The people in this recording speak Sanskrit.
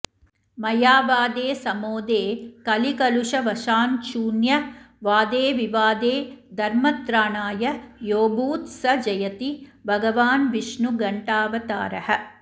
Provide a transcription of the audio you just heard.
मयावादे समोदे कलिकलुषवशाच्छून्यवादेऽविवादे धर्मत्राणाय योऽभूत् स जयति भगवान्विष्णुघण्टावतारः